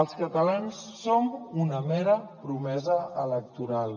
els catalans som una mera promesa electoral